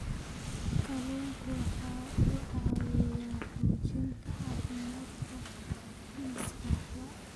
Kalluunku waxa uu caawiyaa xoojinta caafimaadka maskaxda.